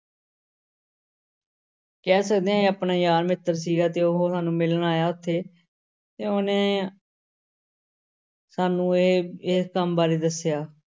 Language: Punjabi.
ਕਹਿ ਸਕਦੇ ਹਾਂ ਇਹ ਆਪਣੇ ਯਾਰ ਮਿੱਤਰ ਸੀਗਾ ਤੇ ਉਹ ਸਾਨੂੰ ਮਿਲਣ ਆਇਆ ਇੱਥੇ ਤੇ ਉਹਨੇ ਸਾਨੂੰ ਇਹ ਇਸ ਕੰਮ ਬਾਰੇ ਦੱਸਿਆ।